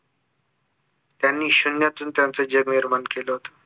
त्यांनी शून्यातून त्यांचं जग निर्माण केलं होतं